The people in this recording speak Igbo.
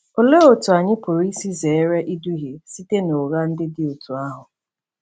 Olee otú anyị pụrụ isi zere iduhie site n’ụgha ndị dị otú ahụ?